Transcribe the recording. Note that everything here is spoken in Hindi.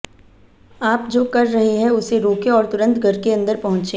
आप जो कर रहे हैं उसे रोकें और तुरंत घर के अंदर पहुंचें